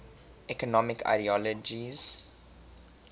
economic ideologies